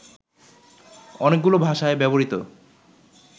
অনেকগুলো ভাষায় ব্যবহৃত